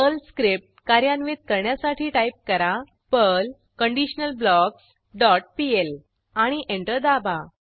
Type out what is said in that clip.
Perl script कार्यान्वित करण्यासाठी type करा पर्ल कंडिशनलब्लॉक्स डॉट पीएल आणि एंटर दाबा